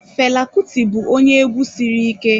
Fela Kuti bụ onye egwu sịrị ike